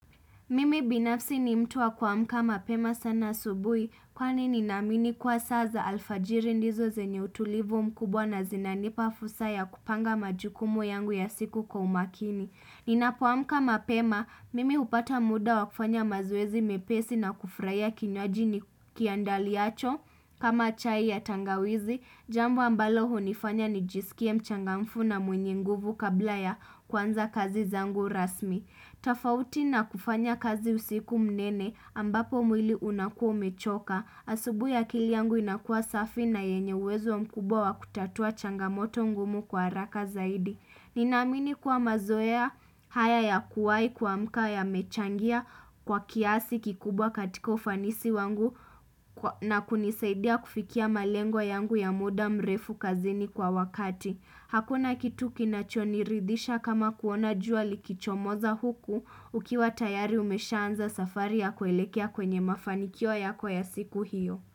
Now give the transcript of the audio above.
Mimi binafsi ni mtu wa kuamka mapema sana asubui kwani ninaamini kuwa saa za alfajiri ndizo zenye utulivu mkubwa na zinanipa fursa ya kupanga majukumu yangu ya siku kwa umakini. Ninapoamka mapema, mimi hupata muda wa kufanya mazoezi mepesi na kufraia kinywaji ni kiandaliacho kama chai ya tangawizi. Jambo ambalo hunifanya nijisikie mchangamfu na mwenye nguvu kabla ya kuanza kazi zangu rasmi. Tafauti na kufanya kazi usiku mnene ambapo mwili unakua umechoka Asubui akili yangu inakuwa safi na yenye uwezo mkubwa wa kutatua changamoto ngumu kwa araka zaidi Ninaamini kuwa mazoea haya ya kuwai kuamka yamechangia kwa kiasi kikubwa katika ufanisi wangu na kunisaidia kufikia malengo yangu ya muda mrefu kazini kwa wakati Hakuna kitu kinachoniridhisha kama kuona jua likichomoza huku ukiwa tayari umeshaanza safari ya kuelekea kwenye mafanikio yako ya siku hiyo.